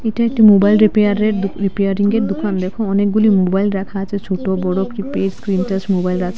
এটা একটা মুবাইল রিপেয়ারের দু রিপিয়ারিংয়ের দুকান দেখো অনেকগুলি মুবাইল রাখা আছে ছোট বড় কিপ্যাড স্ক্রীন টাচ মুবাইল আছে।